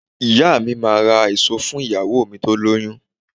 Ìyá mi máà ra èso fún ìyàwó mi tó lóyún